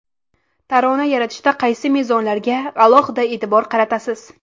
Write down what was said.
Tarona yaratishda qaysi mezonlarga alohida e’tibor qaratasiz?